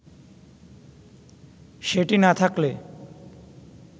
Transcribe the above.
সেটি না থাকলে